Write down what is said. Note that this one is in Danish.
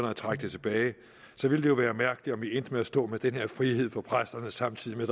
at trække det tilbage ville det jo være mærkeligt om vi endte med at stå med den her frihed for præsterne samtidig med